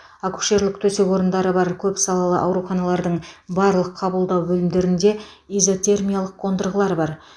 акушерлік төсек орындары бар көпсалалы ауруханалардың барлық қабылдау бөлімдерінде изотермиялық қондырғылар бар